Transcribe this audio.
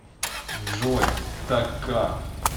джой так как